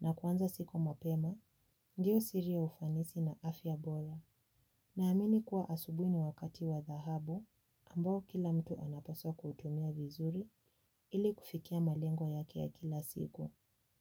na kuanza siku mapema, ndiyo siri ya ufanisi na afya bora. Naamini kuwa asubuhi ni wakati wa dhahabu ambao kila mtu anapaswa kutumia vizuri ili kufikia malengo yake ya kila siku.